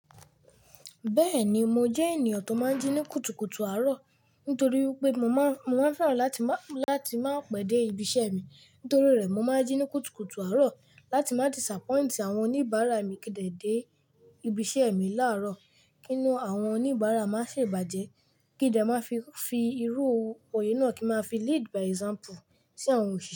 Bẹ́ẹ̀ni mo jẹ́ ènìyàn tó máa ń jí ní kùtùkùtù àárọ̀, nítorí wípé mo máa ń fẹ́ràn láti máa pèdè ibi iṣẹ́ mi. Nítorí rẹ̀, mo máa ń jí ní kùtùkùtù àárọ̀ láti má disapoint àwọn oníbàárà mi kí dẹ̀ dé ibi iṣẹ́ mi láàárọ̀. Kínú àwọn oníbàárà má sì bàjẹ́, kí n dẹ máa fi irú òye náà kí n máa fi lead by example sí àwọn òṣìṣẹ́.